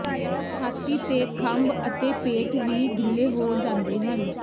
ਛਾਤੀ ਤੇ ਖੰਭ ਅਤੇ ਪੇਟ ਵੀ ਗਿੱਲੇ ਹੋ ਜਾਂਦੇ ਹਨ